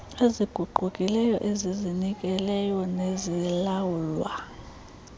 eziguqukileyo ezizinikeleyo nezilawulwa